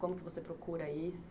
Como que você procura isso?